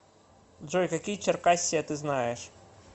джой какие черкассия ты знаешь